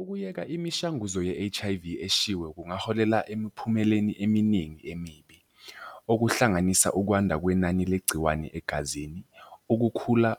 Ukuyeka imishanguzo ye-H_I_V eshiwe kungaholela emiphumeleni eminingi emibi. Okuhlanganisa ukwanda kwenani legciwane egazini, ukukhula